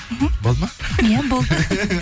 мхм болды ма иә болды